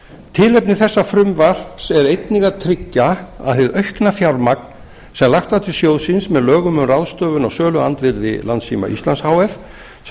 tilefni þessa frumvarps er einnig að tryggja að hið aukna fjármagn sem lagt var til sjóðsins með lögum um ráðstöfun á söluandvirði landssíma íslands h f sem